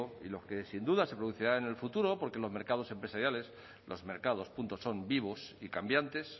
y los que sin duda se producirán en el futuro porque los mercados empresariales los mercados punto son vivos y cambiantes